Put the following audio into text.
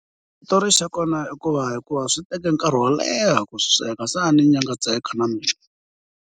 Xitori xa kona i ku va hikuva swi teke nkarhi wo leha ku swi sweka se a ni nyangatseka na mina.